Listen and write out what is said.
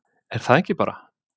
Er það ekki bara?